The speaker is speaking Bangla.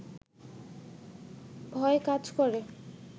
ভয় কাজ করে